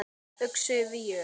Yxu víur